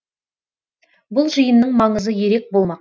бұл жиынның маңызы ерек болмақ